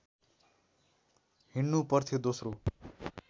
हिँडनु पर्थ्यो दोस्रो